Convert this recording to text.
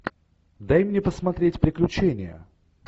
дай мне посмотреть приключения